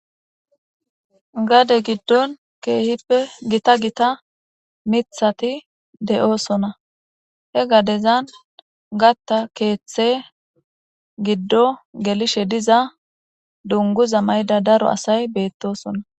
Gade gidon kehipe gita gita mitati de'osona he gadezan gatha kethe gidon gelishe diza dunguza mayda daro asay betosona.